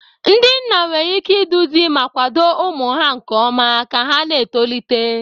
Ndị nna nwere ike iduzi ma kwado ụmụ ha nke ọma ka ha na-etolite.